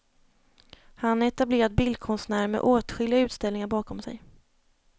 Han är etablerad bildkonstnär med åtskilliga utställningar bakom sig.